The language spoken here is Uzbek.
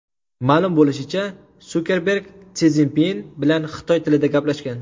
Ma’lum bo‘lishicha, Sukerberg Si Szinpin bilan xitoy tilida gaplashgan.